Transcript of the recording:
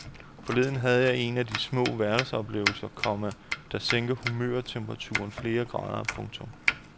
Forleden havde jeg en af de små hverdagsoplevelser, komma der sænker humørtemperaturen flere grader. punktum